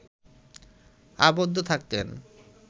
আবদ্ধ থাকতেন